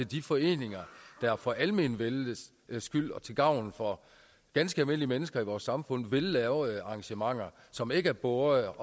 de foreninger der for almenvellets skyld og til gavn for ganske almindelige mennesker i vores samfund vil lave arrangementer som ikke er båret af